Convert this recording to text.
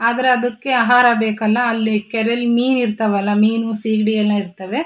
ಆದ್ರೆ ಅದಕ್ಕೆ ಆಹಾರ ಬೇಕಲ್ಲಾ ಅಲ್ಲಿ ಕೆರೆಲಿ ಮೀನ್ ಇರ್ತಾವಲ್ಲಾ ಮೀನು ಸಿಗಡಿ ಎಲ್ಲಾ ಇರ್ತವೆ.